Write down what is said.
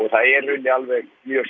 það er í rauninni alveg mjög